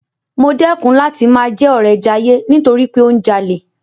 Mo dẹ́kun láti máa jẹ́ ọ̀rẹ Jayé nítorí pé ó ń jalè.